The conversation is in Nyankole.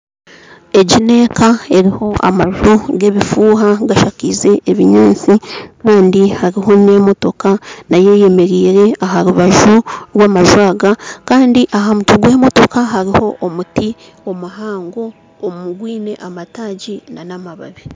Egi n'eka eriho amaju g'obufuuha gashakaize ebinyaatsi kandi hariho n'emotoka nayo eyemereire aha rubaju rw'amaju aga kandi aha mutwe gw'emotoka hariho omuti omuhango ogwine amataagi n'amababi